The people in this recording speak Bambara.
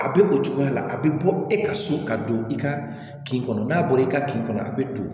A bɛ o cogoya la a bɛ bɔ e ka so ka don i ka kin kɔnɔ n'a bɔra i ka kin kɔnɔ a bɛ don